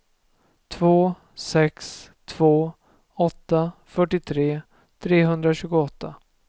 två sex två åtta fyrtiotre trehundratjugoåtta